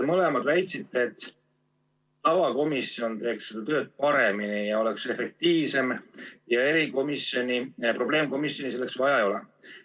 Mõlemad väitsite, et tavakomisjon teeks seda tööd paremini ja oleks efektiivsem ja probleemkomisjoni selleks vaja ei ole.